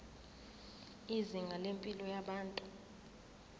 izinga lempilo yabantu